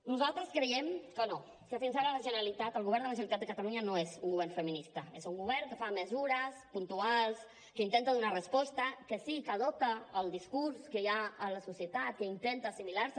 nosaltres creiem que no que fins ara la generalitat el govern de la generalitat de catalunya no és un govern feminista és un govern que fa mesures puntuals que intenta donar resposta que sí que adopta el discurs que hi ha a la societat que intenta assimilar se